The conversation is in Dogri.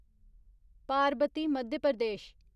पारबती मध्य प्रदेश